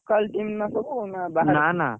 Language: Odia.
Local team ନା ସବୁ ନା ବାହାର? ।